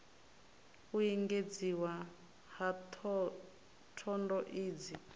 u engedziwa ha thondo idzi